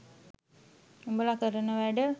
උඹලා කරන වැඩ